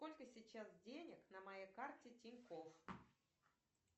сколько сейчас денег на моей карте тинькофф